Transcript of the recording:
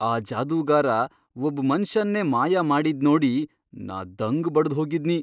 ಆ ಜಾದುಗಾರ ಒಬ್ ಮನ್ಷನ್ನೇ ಮಾಯ ಮಾಡಿದ್ನೋಡಿ ನಾ ದಂಗ್ ಬಡದ್ ಹೋಗಿದ್ನಿ.